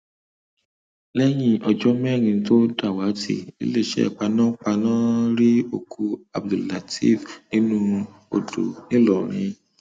lẹyìn ọjọ mẹrin tó dàwátì iléeṣẹ panápaná rí òkú abdelteef nínú odò ńìlọrin